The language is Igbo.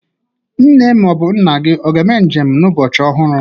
Nne ma ọ bụ nna gị ọ ga-eme njem n'ụbọchị ọhụrụ?